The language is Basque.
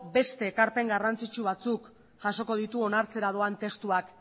beste ekarpen garrantzitsu batzuk jasoko ditu onartzera doan testuak